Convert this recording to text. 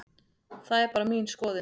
Það er bara mín skoðun.